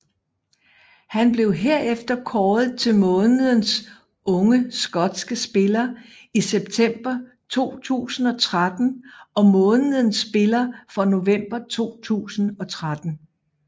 Han blev herefter kåret til månedens unge skotske spiller i september 2013 og månedens spiller for november 2013